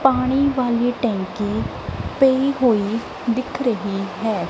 ਪਾਣੀ ਵਾਲੀ ਟੈਂਕ ਪਈ ਹੋਈ ਦਿੱਖ ਰਹੀ ਹੈ।